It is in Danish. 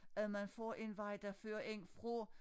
At man får en vej der fører ind fra